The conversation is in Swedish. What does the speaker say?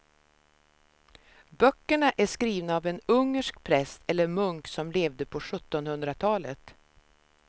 Böckerna är skrivna av en ungersk präst eller munk som levde på sjuttonhundratalet.